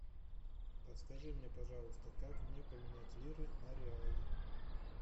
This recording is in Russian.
подскажи мне пожалуйста как мне поменять лиры на реалы